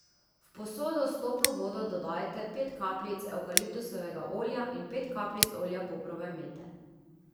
V posodo s toplo vodo dodajte pet kapljic evkaliptusovega olja in pet kapljic olja poprove mete.